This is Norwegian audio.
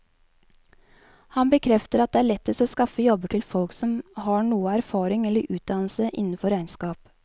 Han bekrefter at det er lettest å skaffe jobber til folk som har noe erfaring eller utdannelse innenfor regnskap.